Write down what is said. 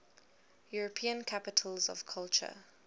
european capitals of culture